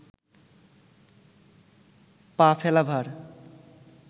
পা ফেলা ভার